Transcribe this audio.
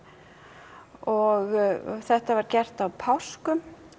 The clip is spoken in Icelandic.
og þetta var gert á páskum